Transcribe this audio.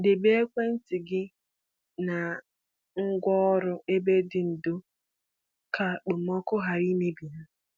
Debe ekwentị gị na ngwá ọrụ n’ebe dị ndò ka ka okpomọkụ ghara imebi ha.